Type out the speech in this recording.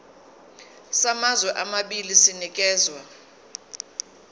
samazwe amabili sinikezwa